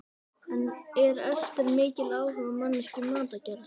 En er Ester mikil áhugamanneskja um matargerð?